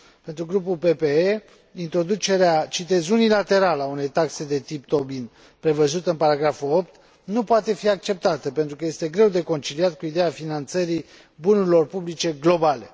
Pentru Grupul PPE, introducerea unilaterală a unei taxe de tip Tobin, prevăzută la punctul 8, nu poate fi acceptată, pentru că este greu de conciliat cu ideea finanțării bunurilor publice globale.